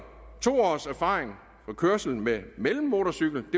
to års erfaring med kørsel med mellemmotorcykel og